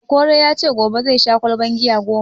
Okoro ya ce gobe zai sha ƙwalban giya goma